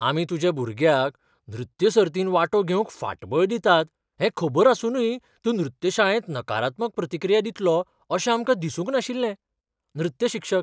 आमी तुज्या भुरग्याक नृत्य सर्तींत वांटो घेवंक फाटबळ दितात हें खबर आसूनय तूं नृत्य शाळेंत नकारात्मक प्रतिक्रिया दितलो अशें आमकां दिसूंक नाशिल्लें. नृत्य शिक्षक